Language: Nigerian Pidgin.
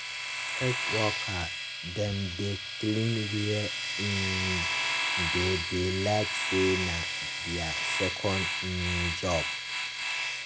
health worker dem dey clean where um dem dey like say na their second um job.